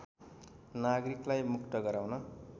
नागरिकलाई मुक्त गराउन